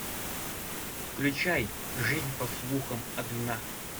включай жизнь по слухам одна